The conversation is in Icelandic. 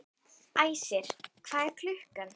Æsir, hvað er klukkan?